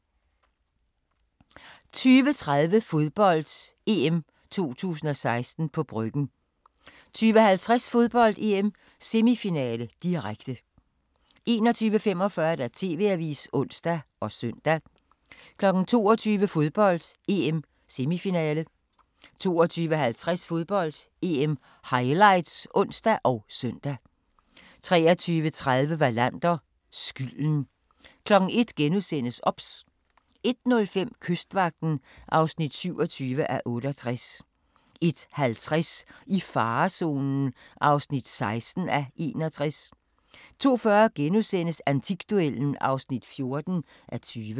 20:30: Fodbold: EM 2016 – på Bryggen 20:50: Fodbold: EM - semifinale, direkte 21:45: TV-avisen (ons og søn) 22:00: Fodbold: EM - semifinale 22:50: Fodbold: EM - highlights (ons og søn) 23:30: Wallander: Skylden 01:00: OBS * 01:05: Kystvagten (27:68) 01:50: I farezonen (16:61) 02:40: Antikduellen (14:20)*